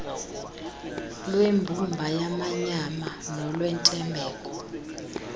lwembumba yamanyama nolwentembeko